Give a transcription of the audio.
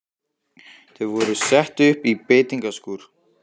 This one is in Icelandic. Þau voru sett upp í beitingaskúr.